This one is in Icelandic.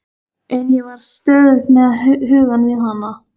En ég var stöðugt með hugann við hana.